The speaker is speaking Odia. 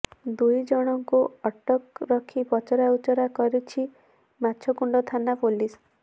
ଦୁଇ ଜଣଙ୍କୁ ଅଠକ ରଖି ପଚରାଉଚରା କରୁଛି ମାଛକୁଣ୍ଡ ଥାନା ପୋଲିସ